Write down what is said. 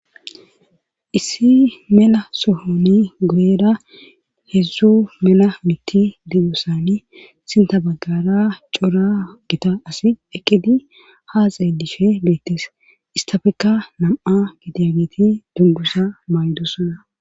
issi mela sohoni guyeera heedzdzu mela miti didosani sinta baggara cora gita asi eqqidi haaxey dishe beettees istafekka nam7a gidegeti dungusa maydu sona